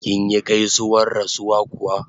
Kinyi gaisuwar rasuwa kuwa?